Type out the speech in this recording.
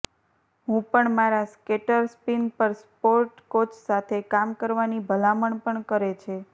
હું પણ મારા સ્કેટર સ્પીન પર સપોર્ટ કોચ સાથે કામ કરવાની ભલામણ પણ કરે છે